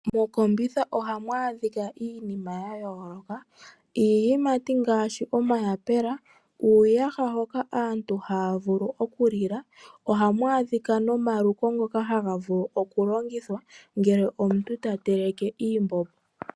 Mokombitha ohamu adhika iinima ya yooloka iiyimati ngaashi omayapela, uuyaha hoka aantu haya vulu oku lila ohamu adhika nomaluko ngoka haga vulu oku longothwa ngele omuntu ta teleke iimbombo.